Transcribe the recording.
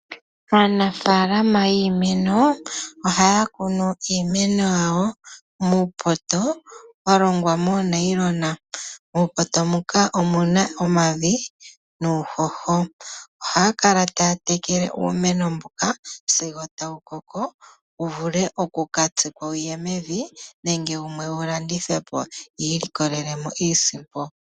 Aanafaalama yiimeno ohaya kunu iimeno yawo muupoto walongwa monayilona , muupoto muka omuna omavi nuuhoho. Ohaya kala taya tekele uumeno mbuka sigo tawu koko wuvule oku katsikwa wuye mevi nenge wumwe wulandithwe po yi ilikolelemo iisimpo.